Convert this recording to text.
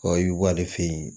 i bɛ bɔ ale fɛ yen